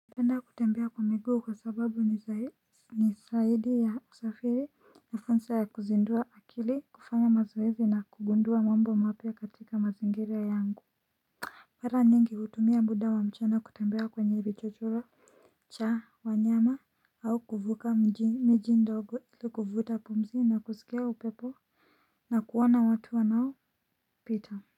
Napenda kutembea kwa miguu kwa sababu ni zaidi ya usafiri na fursa ya kuzindua akili kufanya mazoezi na kugundua mambo mapya katika mazingira yangu mara nyingi hutumia muda wa mchana kutembea kwenye vichochoro cha wanyama au kuvuka miji ndogo ili kuvuta pumzi na kusikia upepo na kuona watu wanao pita.